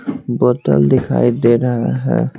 बोतल दिखाई दे रहा है।